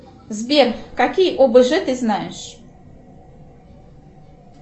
сбер какие обж ты знаешь